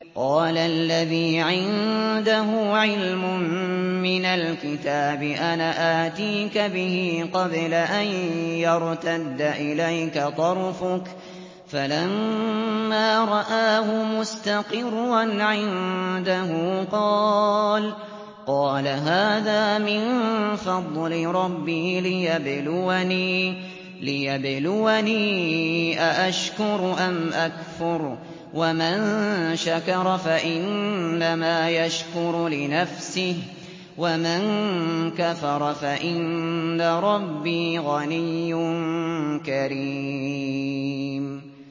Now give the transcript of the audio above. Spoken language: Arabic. قَالَ الَّذِي عِندَهُ عِلْمٌ مِّنَ الْكِتَابِ أَنَا آتِيكَ بِهِ قَبْلَ أَن يَرْتَدَّ إِلَيْكَ طَرْفُكَ ۚ فَلَمَّا رَآهُ مُسْتَقِرًّا عِندَهُ قَالَ هَٰذَا مِن فَضْلِ رَبِّي لِيَبْلُوَنِي أَأَشْكُرُ أَمْ أَكْفُرُ ۖ وَمَن شَكَرَ فَإِنَّمَا يَشْكُرُ لِنَفْسِهِ ۖ وَمَن كَفَرَ فَإِنَّ رَبِّي غَنِيٌّ كَرِيمٌ